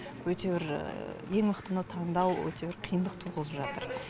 өте бір ең мықтыны таңдау өте бір қиындық туғызып жатыр